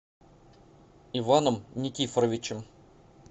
иваном никифоровичем